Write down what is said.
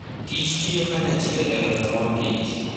kichtiyo kanyachiel e loso mor kich.